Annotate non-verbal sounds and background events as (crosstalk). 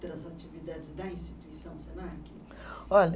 (unintelligible) atividades da instituição Senac? Olha